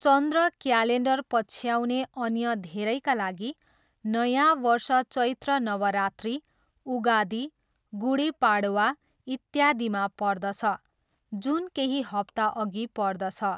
चन्द्र calendar पछ्याउने अन्य धेरैका लागि, नयाँ वर्ष चैत्र नवरात्रि, उगादी, गुढी पाडवा, इत्यादिमा पर्दछ, जुन केही हप्ता अघि पर्दछ।